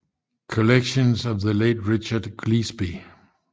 Collections of the Late Richard Cleasby